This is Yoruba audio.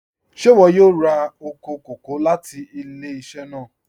Ṣẹ̀ iwọ yóò rá oko kòkò̀ láti ilẹ̀-iṣẹ̀ náà?